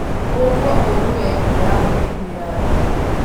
ũgũkua ũru we ndĩrakũiguira thaa.